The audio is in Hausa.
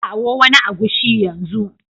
Kawo wani agushi yanzu